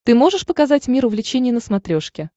ты можешь показать мир увлечений на смотрешке